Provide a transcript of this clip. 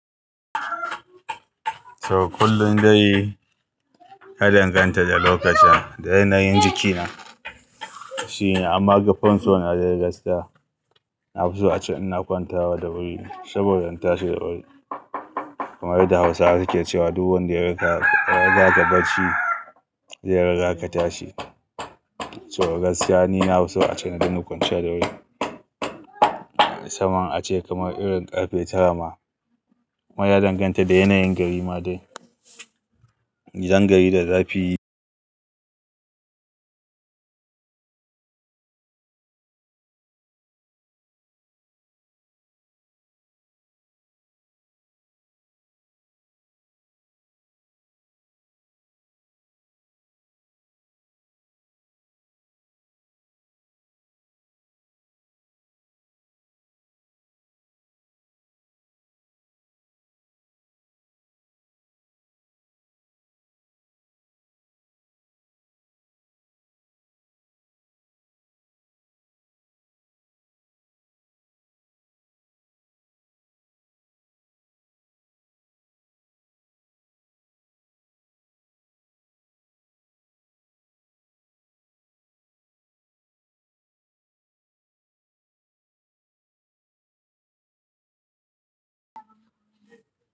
To kullum dai ya danganta da lokaci da yanayin jikina shine, amma ga funso na dai gaskiya, na fi so a ace ina kwantawa da wuri saboda intashi da wuri. Kamar yadda Hausawa suke cewa "duk wanda ya riga ka barci, zai rigaka tashi." So gaskiya ni na fi so a ce na dinga kwanciya da wuri saman ace kamar irin ƙarfe tara ma. Waya danganta da yanayin gari ma dai idan gari da zafiyi.